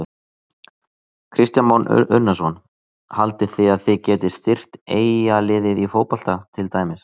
Kristján Már Unnarsson: Haldið þið að þið getið styrkt Eyjaliðið í fótbolta til dæmis?